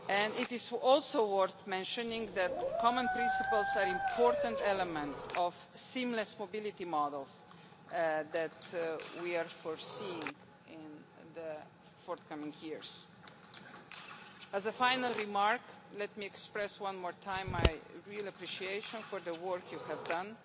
It is also worth mentioning that common principles are an important element of seamless mobility models that we are foreseeing in the forthcoming years. As a final remark, let me express one more time my real appreciation for the work you have done.